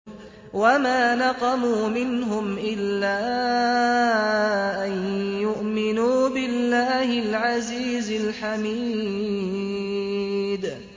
وَمَا نَقَمُوا مِنْهُمْ إِلَّا أَن يُؤْمِنُوا بِاللَّهِ الْعَزِيزِ الْحَمِيدِ